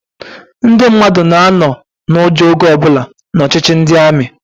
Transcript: Ndị mmadụ na-anọ n'ụjọ oge ọbụla n'ọchịchị ndị amị.